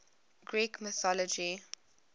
greek mythology